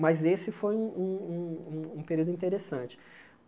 Mas esse foi um um um um período interessante.